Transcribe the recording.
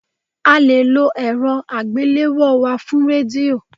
A le lo ẹ̀rọ àgbéléwò wá fún Rédíò.